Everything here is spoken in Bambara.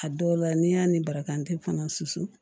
A dɔw la n'i y'a ni barakan te fana susu